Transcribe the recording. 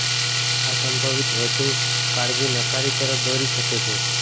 આ સંભવિત વધુ કાળજી નકારી તરફ દોરી શકે છે